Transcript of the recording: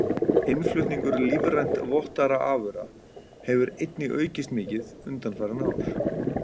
Innflutningur lífrænt vottaðra afurða hefur einnig aukist mikið undanfarin ár.